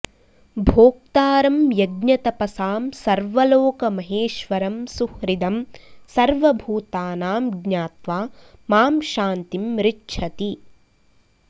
भोक्तारं यज्ञतपसां सर्वलोकमहेश्वरम् सुहृदं सर्वभूतानां ज्ञात्वा मां शान्तिम् ऋच्छति